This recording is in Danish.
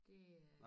Det er